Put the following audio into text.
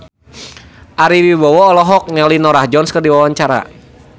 Ari Wibowo olohok ningali Norah Jones keur diwawancara